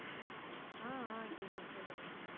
ஆஹ் ஆஹ் கேக்குது சொல்லுங்க